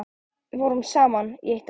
Við vorum saman í eitt ár.